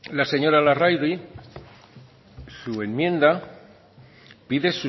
la señora larrauri su enmienda pide